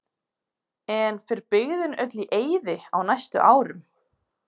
En fer byggðin öll í eyði á næstu árum?